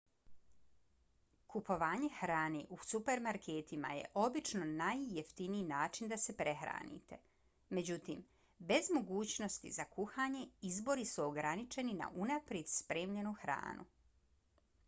kupovanje hrane u supermarketima je obično najjeftiniji način da se prehranite. međutim bez mogućnosti za kuhanje izbori su ograničeni na unaprijed spremljenu hranu